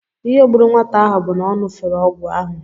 Ihe gburu nwata ahụ bụ na ọ ṅụfere ọgwụ ahụ